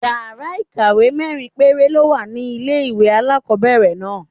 Yàrá ìkàwé mẹ́rin péré ló wà ní ilé-ìwé alákọ́bẹ̀rẹ̀ náà